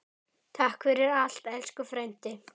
Takk fyrir allt, elsku frændi.